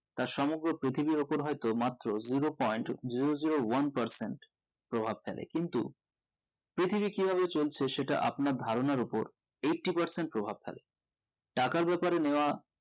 তা সমগ্র পৃথিবীর উপর হয়তো মাত্র zero point zero zero one percent প্রভাব ফেলে কিন্তু পৃথিবী কি ভাবে চলছে সেটা আপনার ধারণার উপর eighty percent প্রভাব ফেলে টাকার বেপারে নেওয়া